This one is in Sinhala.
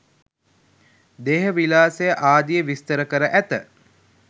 දේහ විලාසය ආදිය විස්තර කර ඇත.